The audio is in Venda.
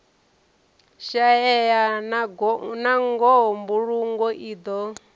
shaeya nangoho mbulungo i do